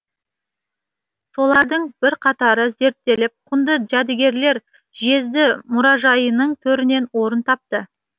солардың бірқатары зерттеліп құнды жәдігерлер жезді мұражайының төрінен орын тапты